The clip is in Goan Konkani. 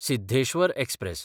सिद्धेश्वर एक्सप्रॅस